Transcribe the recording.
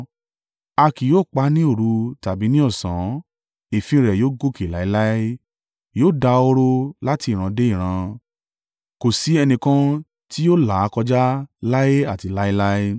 A kì yóò pa á ní òru tàbí ní ọ̀sán; èéfín rẹ̀ yóò gòkè láéláé: yóò dahoro láti ìran dé ìran, kò sí ẹnìkan tí yóò là á kọjá láé àti láéláé.